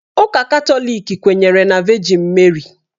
Ụka Katọlik kwenyere na Vejin Meri